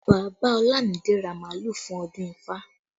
Bàbá Olumide ra màálù fún ọdún ifá